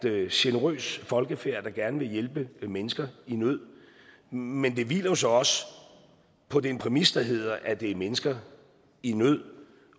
er et generøst folkefærd der gerne vil hjælpe mennesker i nød men det hviler jo så også på den præmis der hedder at det er mennesker i nød